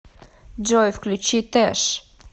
джой включи тэш